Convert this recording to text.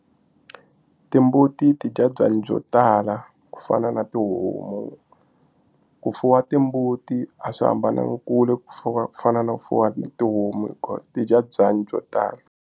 Timbuti ti dya byanyi byo tala ku fana na tihomu ku fuwa timbuti a swi hambananga kule ku fuwa ku fana na ku fuwa na tihomu hikuva ti dya byanyi byo tala.